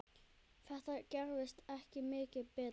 Þetta gerist ekki mikið betra.